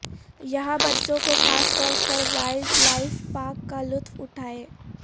یہاں بچوں کو خاص طور پر وائلڈ لائف پارک کا لطف اٹھائیں